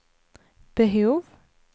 behov